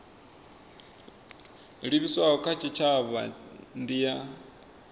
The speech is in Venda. livhiswaho kha tshitshavha ndi ya